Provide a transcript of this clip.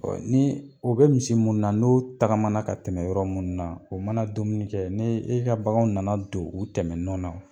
ni o bɛ misi mun na n'o tagamana ka tɛmɛ yɔrɔ minnu na o mana dumuni kɛ n'e ka baganw nana don u tɛmɛ nɔ na.